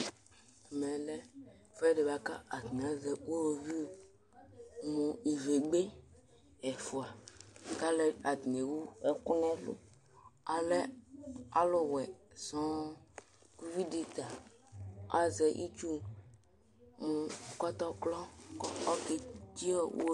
ɛmɛ lɛ ɛfuedi boa ko atani azɛ uwoviu mo ivegbe ɛfua ko alo atani ewu ɛkò n'ɛlu alɛ alò wɛ sɔŋ kò uvi di ta azɛ itsu mo kɔtɔkrɔ ko oke tse uwoviu